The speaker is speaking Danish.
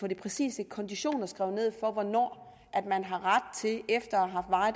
de præcise konditioner ned for hvornår man har ret til at optjene efter